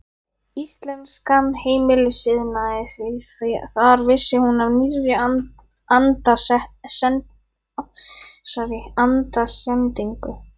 Íslenskan heimilisiðnað, því þar vissi hún af nýrri andasendingu.